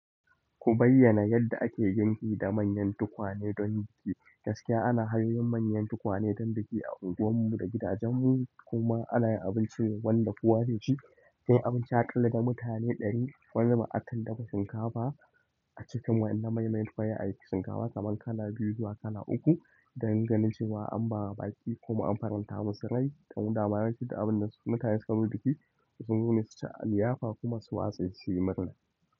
Ku bayyana yadda ake girki da manyan tukwane don biki. Gaskiya ana hanyo manyan tukwane don biki a unguwar mu da gidajen mu kuma ana yin abincin wanda ƙosa zai shi, shine abinci aƙalla ga mutane ɗari wanda aka ɗafa shinkafa a cikin wani na mai mai tuwaye aiki shinkafa kaman kala biyu zuwa kala uku dan ganin cewa an ba baƙi kuma an faranta masu rai ta badan abun da su mutane suka yi bikin sun nuna su ta liyafa kuma su watsa shi yi murna.